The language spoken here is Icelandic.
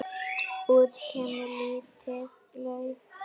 Út kemur lítið lauf.